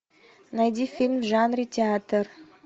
найди фильм в жанре театр